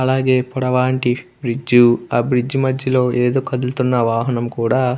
అలాగే పొడవాంటి బ్రిడ్జ్ ఆ బ్రిడ్జ్ మధ్యలో ఏదో కదులుతున్న వాహనం కూడా --